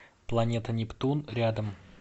планета нептун рядом